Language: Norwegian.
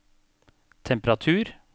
temperatur